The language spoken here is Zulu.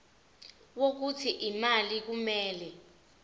wokuthi imali kumele